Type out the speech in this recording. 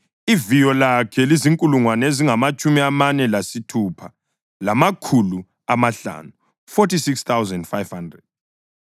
Iviyo lakhe lizinkulungwane ezingamatshumi amane lesithupha, lamakhulu amahlanu (46,500).